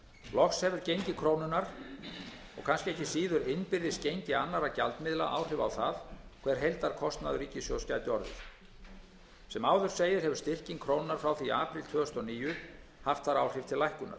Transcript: loks hefur gengi krónunnar og kannski ekki síður innbyrðis gengi annarra gjaldmiðla áhrif á það hver heildarkostnaður ríkissjóðs gæti orðið sem áður segir hefur styrking krónunnar frá því í apríl tvö þúsund og níu haft þar áhrif til lækkunar